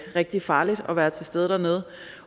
rigtig farligt at være til stede dernede